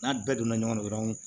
N'a bɛɛ donna ɲɔgɔn na dɔrɔn